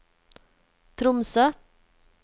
Tromsø